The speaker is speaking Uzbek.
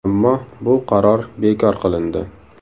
Ammo bu qaror bekor qilindi.